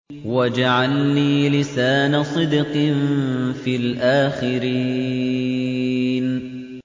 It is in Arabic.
وَاجْعَل لِّي لِسَانَ صِدْقٍ فِي الْآخِرِينَ